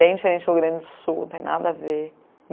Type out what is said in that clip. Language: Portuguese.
Bem diferente do Rio Grande do Sul, não tem nada a ver.